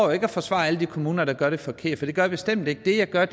og forsvarer alle de kommuner der gør det forkerte det gør jeg bestemt ikke det jeg gør